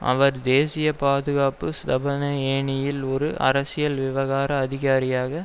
அவர் தேசிய பாதுகாப்பு ஸ்தாபன ஏணியில் ஒரு அரசியல் விவகார அதிகாரியாக